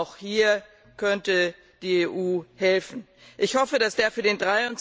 Auch hier könnte die EU helfen. Ich hoffe, dass der für den